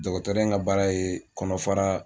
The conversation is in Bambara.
Dɔgɔtɔrɔ in ka baara ye kɔnɔfara